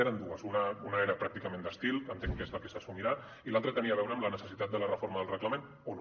eren dues una era pràcticament d’estil que entenc que és la que s’assumirà i l’altra tenia a veure amb la necessitat de la reforma del reglament o no